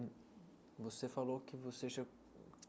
Hum você falou que você